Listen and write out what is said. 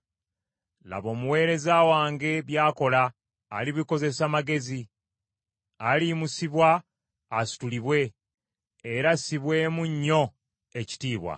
Laba, omuweereza wange by’akola alibikozesa magezi, aliyimusibwa asitulibwe, era assibwemu nnyo ekitiibwa.